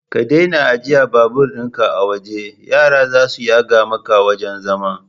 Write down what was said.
Ka daina ajjiye babur ɗin ka a waje, yara zasu yaga maka wajan zaman